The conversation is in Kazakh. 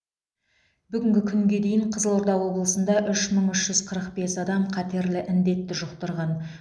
бүгінгі күнге дейін қызылорда облысында үш мың үш жүз қырық бес адам қатерлі індетті жұқтырған